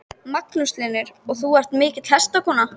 Magnús Hlynur: Og þú ert mikil hestakona?